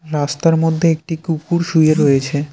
রাস্তার মধ্যে একটি কুকুর শুয়ে রয়েছে।